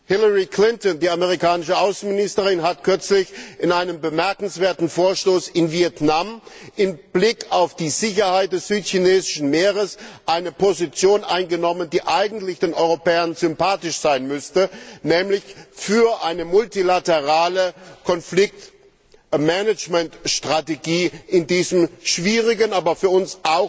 Hillary Clinton, die amerikanische Außenministerin, hat kürzlich in einem bemerkenswerten Vorstoß in Vietnam mit Blick auf die Sicherheit des südchinesischen Meeres eine Position eingenommen, die eigentlich den Europäern sympathisch sein müsste, nämlich für eine multilaterale Konfliktmanagementstrategie in diesem schwierigen, aber für uns